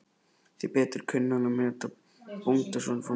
Því betur kunni hann að meta bóndasoninn frá Miðdal.